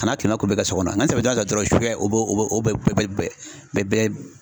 Kana o bɛɛ